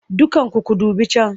Dukkanku ku dubi can!